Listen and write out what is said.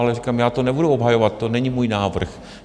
Ale říkám, já to nebudu obhajovat, to není můj návrh.